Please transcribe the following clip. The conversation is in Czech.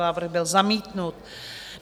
Návrh byl zamítnut.